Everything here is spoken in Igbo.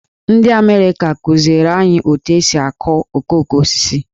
Ndị Amerịka kụziere anyị otu esi akụ okoko osisi.